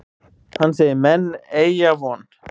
Hann segir menn eygja von.